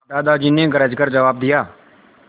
दादाजी ने गरज कर जवाब दिया